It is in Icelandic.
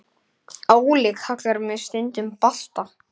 Óli kallar mig stundum Balta